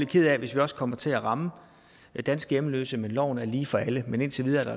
ked af hvis vi også kommer til at ramme danske hjemløse men loven er lige for alle men indtil videre er